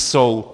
Jsou!